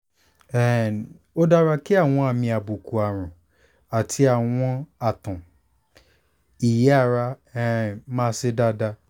um ó dára kí àwọn àmì àbùkù àrùn àti àwọ̀n àtọ̀n-ìyẹ́ ara um máa ṣe dáadáa